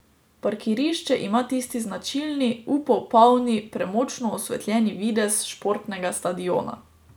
Parkirišče ima tisti značilni, upov polni, premočno osvetljeni videz športnega stadiona.